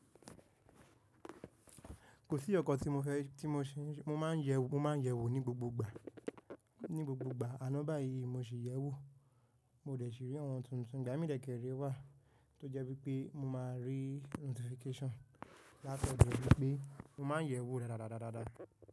Kò sí ọkọ̀ tí mo fẹ́, tí mo ṣe ń ṣe, mo máa ń yẹ̀wò ní gbogbo ìgbà. Ní gbogbo ìgbà àná báyìí mo sì yẹ̀wò, mo dẹ̀ ṣi rí àwọn tuntun. Ǹjà mí dẹ̀kẹrẹ wà tó jẹ́ wípé mo máa rí notification látọdo wípé mo máa ń yẹ̀wò dáadáa.